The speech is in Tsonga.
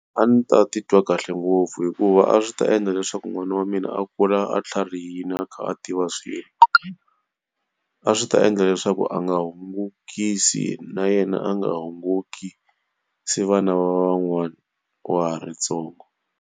A ndzi ta titwa kahle ngopfu hikuva a swi ta endla leswaku n'wana wa mina a kula a tlharihile a kha a tiva swilo. A swi ta endla leswaku a nga hungukisi na yena a nga hungukisi vana va van'wana wa ha ri ntsongo.